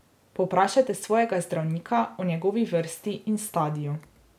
Povprašajte svojega zdravnika o njegovi vrsti in stadiju.